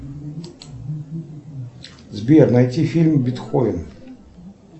сбер найти фильм бетховен